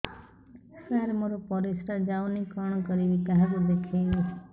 ସାର ମୋର ପରିସ୍ରା ଯାଉନି କଣ କରିବି କାହାକୁ ଦେଖେଇବି